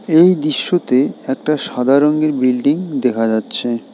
এই দৃশ্যতে একটা সাদা রঙের বিল্ডিং দেখা যাচ্ছে।